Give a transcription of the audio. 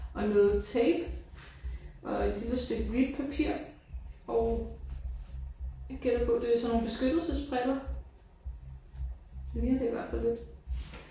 Og noget tape og et lille stykke hvidt papir og jeg gætter på det er sådan nogle beskyttelsesbriller. Det ligner det i hvert fald lidt